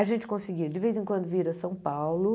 A gente conseguia, de vez em quando, vir a São Paulo.